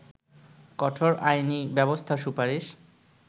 কঠোর আইনী ব্যবস্থার সুপারিশ